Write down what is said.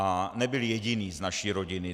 A nebyl jediný z naší rodiny.